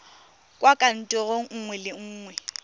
kwa kantorong nngwe le nngwe